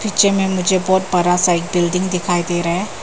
Picture में मुझे बहुत बड़ा सा बिल्डिंग दिखाई दे रहा है।